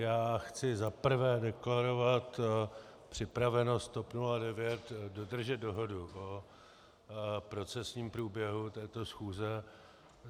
Já chci za prvé deklarovat připravenost TOP 09 dodržet dohodu o procesním průběhu této schůze.